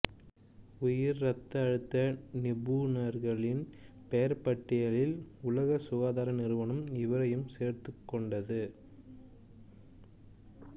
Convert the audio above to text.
உயர் இரத்த அழுத்த நிபுணர்களின் பெயர்பட்டியலில் உலக சுகாதார நிறுவனம் இவரையும் சேர்த்துக்கொண்டது